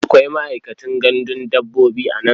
Akwai ma'aikacin gandun dabbobi a nan?